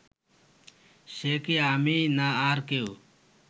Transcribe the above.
সে কি আমিই না আর কেউ